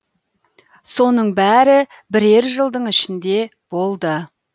соның бәрі бірер жылдың ішінде болды